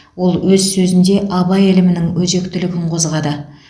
ол өз сөзінде абай ілімінің өзектілігін қозғады